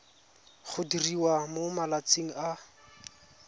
go diriwa mo malatsing a